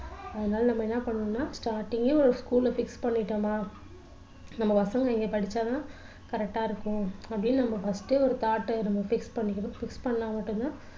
அதனால நம்ம என்ன பண்ணணும்னா starting ஏ ஒரு school ல fix பண்ணிட்டோமா நம்ம பசங்க இங்க படிச்சா தான் correct டா இருக்கும் அப்படின்னு நம்ம first ஏ ஒரு thought டை நம்ம fix பண்ணிக்கணும் fix பண்ணா மட்டும்தான்